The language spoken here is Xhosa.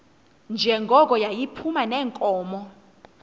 njengoko yayiphuma neenkomo